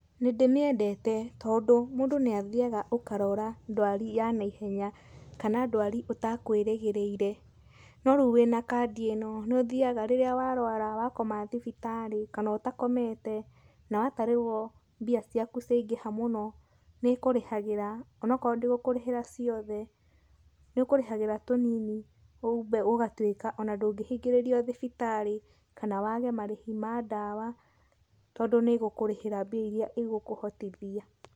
Nĩ ndĩmĩendete tondũ, mũndũ nĩ athiaga ũkarũra ndwari ya naihenya kana ndwari ũtakwĩrĩgĩrĩire. No rĩu wĩna kandi ĩno, nĩ ũthiaga rĩrĩa warũara wakoma thibitarĩ kana ũtakomete, na watarĩrwo mbia ciaku ciangĩha mũno, nĩ ĩkũrĩhagĩra. Onokorwo ndĩgũkũrĩhĩra ciothe nĩ ĩkũrĩhagĩra tũnini ũgatuĩka ona ndũngĩhingĩrĩrio thibitarĩ kana wage marĩhi ma ndawa tondũ nĩĩgũkũrĩhĩra mbia irĩa ĩgũkũhotithia.